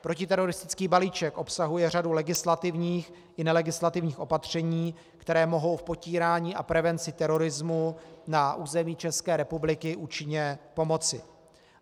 Protiteroristický balíček obsahuje řadu legislativních i nelegislativních opatření, která mohou v potírání a prevenci terorismu na území České republiky účinně pomoci.